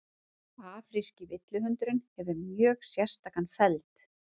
afríski villihundurinn hefur mjög sérstakan feld